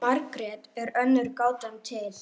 Margrét er önnur gátan til.